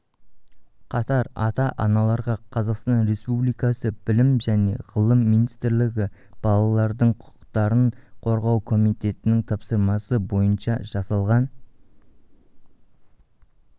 қатар ата-аналарға қазақстан республикасы білім және ғылым министрлігі балалардың құқықтарын қорғау комитетінің тапсырысы бойынша жасалған